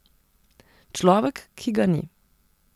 Človek, ki ga ni.